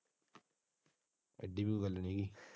ਐਡੀ ਵੀ ਕੋਈ ਗੱਲ ਨਹੀਂ।